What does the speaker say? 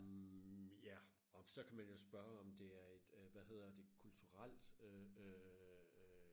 mh ja og så kan man jo spørge om det er et øh hvad hedder det kulturelt øh